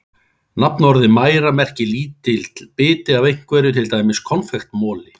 Nafnorðið mæra merkir lítill biti af einhverju, til dæmis konfektmoli.